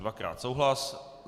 Dvakrát souhlas.